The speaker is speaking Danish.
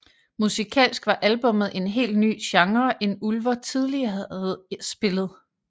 Musikalsk var albummet en helt ny genre end Ulver hidtil havde spillet